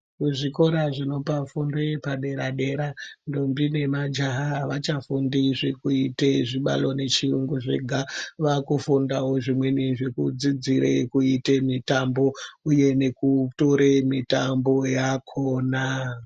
Kuzvikora zvinopa fundo yepadera dera ndombi nemajaha avachafundi zvekuita chibalo nechiyungu zvega vakufundawo zvimweni zvekudzidzira kuita mutambo uye nekutora mitambo yakona.